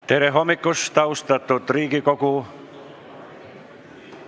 Tere hommikust, austatud Riigikogu!